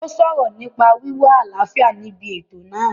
Ó sọ̀rọ̀ nípa wíwá àlàáfíà níbi ètò náà